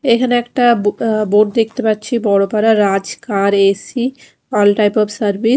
এখানে একটা বো অ্যা বোর্ড দেখতে পাচ্ছি বড় করা Raj car A C all type of সার্ভি--